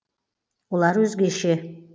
олар өзгеше